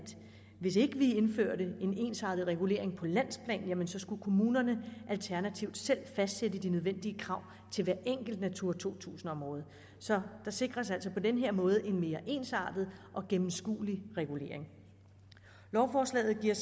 hvis vi ikke indførte en ensartet regulering på landsplan skulle kommunerne alternativt selv fastsætte de nødvendige krav til hvert enkelt natura to tusind område så der sikres altså på den her måde en mere ensartet og gennemskuelig regulering lovforslaget giver